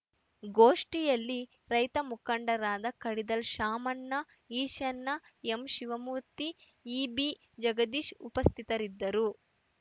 ಗೋಷ್ಠಿಯಲ್ಲಿ ರೈತ ಮುಖಂಡರಾದ ಕಡಿದಾಳ್‌ ಶಾಮಣ್ಣ ಈಶಣ್ಣ ಎಸ್‌ ಶಿವಮೂರ್ತಿ ಇಬಿ ಜಗದೀಶ್‌ ಉಪಸ್ಥಿತರಿದ್ದರು